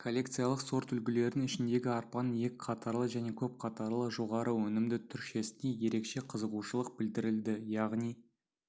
коллекциялық сорт үлгілердің ішіндегі арпаның екі қатарлы және көп қатарлы жоғары өнімді түршесіне ерекше қызығушылық білдірілді яғни